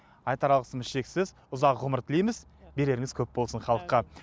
айтар алғысымыз шексіз ұзақ ғұмыр тілейміз береріңіз көп болсын халыққа